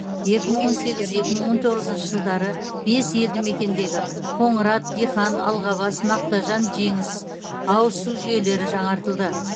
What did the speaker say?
екі мың он сегіз екі мың он тоғызыншы жылдары бес елді мекендегі қоңырат дихан алғабас мақтажан жеңіс ауыз су жүйелері жаңартылды